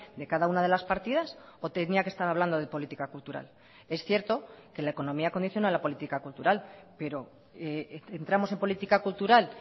de cada una de las partidas o tenía que estar hablando de política cultural es cierto que la economía acondiciona la política cultural pero entramos en política cultural